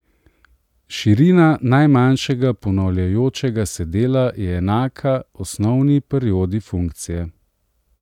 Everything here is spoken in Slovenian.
Širina najmanjšega ponavljajočega se dela je enaka osnovni periodi funkcije.